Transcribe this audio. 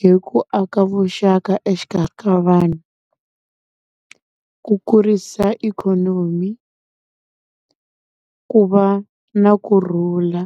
hi ku aka vuxaka exikarhi ka vanhu, ku kurisa ikhonomi, ku va na kurhula.